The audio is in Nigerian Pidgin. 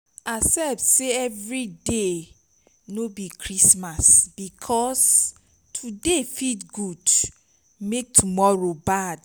accept sey evri day no bi christmas bikos today fit gud mek tomoro bad